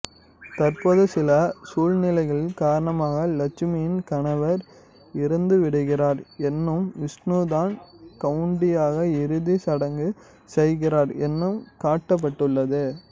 தற்போது சில சூழ்நிலைகள் காரணமாக லட்சுமியின் கணவர் இறந்துவிடுகிறார் என்றும் விஷ்ணுதான் சவுண்டியாக இறுதி சடங்கு செய்கிறார் என்றும் காட்டப்பட்டுள்ளது